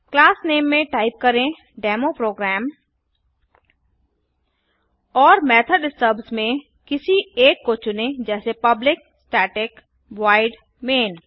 class name में type करें demo program और मेथोड स्टब्स में किसी एक को चुनें जैसे पब्लिक staticवॉइड मैन